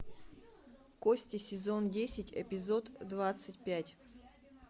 кости сезон десять эпизод двадцать пять